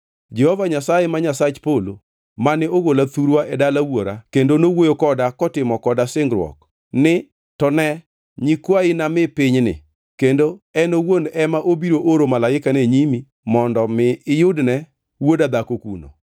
Jehova Nyasaye, ma Nyasach polo mane ogola thurwa e dala wuora kendo nowuoyo koda kotimo koda singruok ni, ‘To ne nyikwayi nami pinyni’ kendo en owuon ema obiro oro malaikane nyimi mondo mi iyudne wuoda dhako kuno.